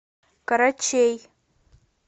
корочей